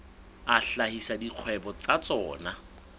a hlahisa dikgwebo tsa tsona